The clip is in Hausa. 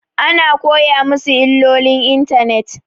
Ana koya masu illolin intanet